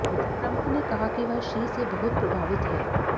Trump ने कहा कि वह शी से बहुत प्रभावित हैं